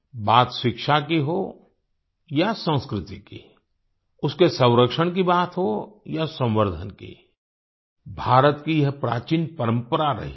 बात शिक्षा की हो या संस्कृति की उसके संरक्षण की बात हो या संवर्धन की भारत की यह प्राचीन परंपरा रही है